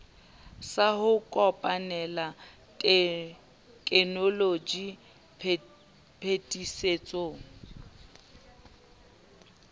sa ho kopanela tekenoloji phetisetso